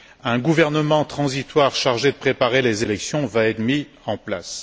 Un gouvernement transitoire chargé de préparer les élections va être mis en place.